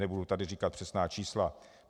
Nebudu tady říkat přesná čísla.